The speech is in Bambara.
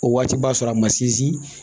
O waati b'a sɔrɔ a ma sinsin